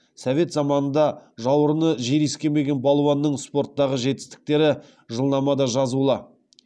совет заманында жауырыны жер иіскемеген балуанның спорттағы жетістіктері жылнамада жазулы